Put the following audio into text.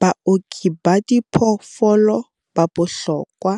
Baoki ba diphoofolo ba bohlokwa